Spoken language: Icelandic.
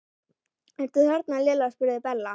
Ertu þarna Lilla? spurði Bella.